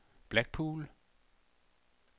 Blackpool